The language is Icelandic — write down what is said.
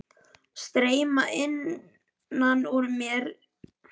Streyma innan úr mér einsog foss niður þverhnípt bjarg.